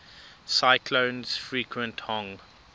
cyclones frequent hong